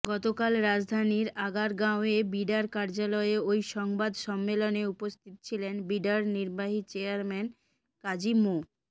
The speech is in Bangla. গতকাল রাজধানীর আগারগাঁওয়ে বিডার কার্যালয়ে ওই সংবাদ সম্মেলনে উপস্থিত ছিলেন বিডার নির্বাহী চেয়ারম্যান কাজী মো